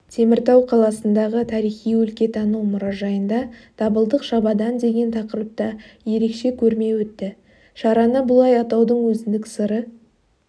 теміртау қаласындағы тарихи-өлкетану мұражайында дабылдық шабадан деген тақырыпта ерекше көрме өтті шараны бұлай атаудың өзіндік сыры